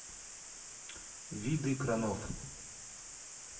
виды кранов